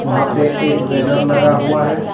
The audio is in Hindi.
वहां पे एक बैनर लगा हुआ है।